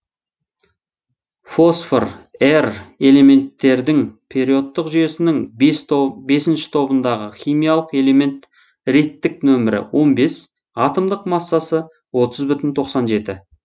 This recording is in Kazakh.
фосфор р элементтердің периодтық жүйесінің бесінші тобындағы химиялық элемент реттік нөмірі он бес атомдық массасы отыз бүтін тоқсан жеті